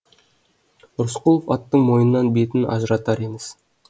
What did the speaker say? рысқұлов аттың мойнынан бетін ажыратар емес